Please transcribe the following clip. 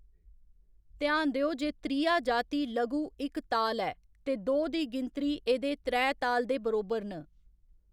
ध्यान देओ जे त्रिया जाति लघु इक ताल ऐ ते दो दी गिनतरी एह्‌‌‌दे त्रै ताल दे बरोबर न।